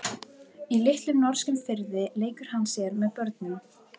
Í litlum norskum firði leikur hann sér með börnum.